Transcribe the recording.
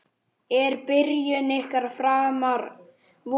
Er byrjun ykkar framar vonum?